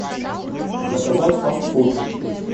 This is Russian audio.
заказать фаст фуд